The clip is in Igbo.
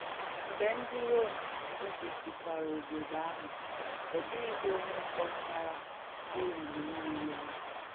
Mgbé ndí Ròm̀ bìbìsị̀kwarà òbòdò àhụ̀, ọ dị̀ghìzi onye kpọ̀chàrà òlùlù mmirì àhụ̀.